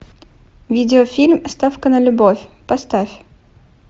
видеофильм ставка на любовь поставь